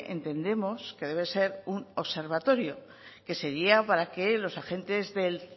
entendemos que debe ser un observatorio que sería para que los agentes del